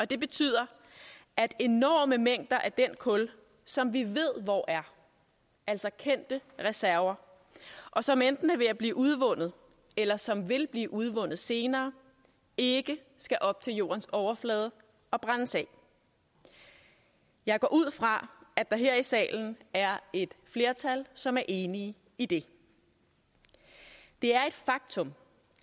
det betyder at enorme mængder af den kul som vi ved hvor er altså kendte reserver og som enten er ved at blive udvundet eller som vil blive udvundet senere ikke skal op til jordens overflade og brændes af jeg går ud fra at der her i salen er et flertal som er enige i det det er et faktum